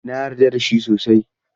Na yarda da shi sosai.